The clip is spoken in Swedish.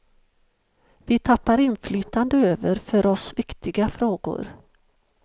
Vi tappar inflytande över för oss viktiga frågor.